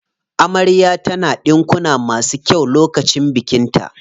Amarya ta na ɗinkuna masu kyau lokacin bikin ta.